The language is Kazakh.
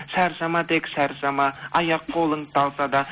шаршама тек шаршама аяқ қолың талса да